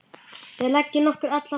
Við leggjum okkur alla fram.